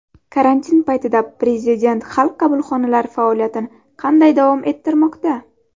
Karantin paytida Prezident Xalq qabulxonalari faoliyatini qanday davom ettirmoqda?